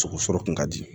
Sogo sɔrɔ kun ka di